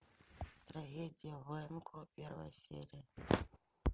трагедия в уэйко первая серия